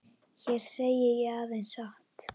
Hér segi ég aðeins satt.